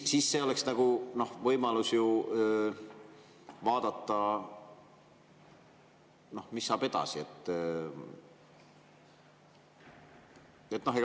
See oleks nagu võimalus vaadata, mis saab edasi.